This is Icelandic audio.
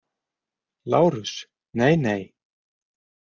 LÁRUS: Nei, nei!